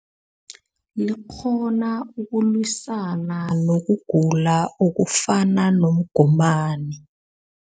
Likghona ukulwisana nokugula okufana nomgomani.